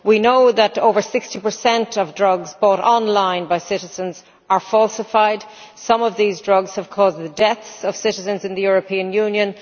We know that over 60 of drugs bought online by citizens are falsified, and some of these drugs have caused the deaths of citizens in the European Union.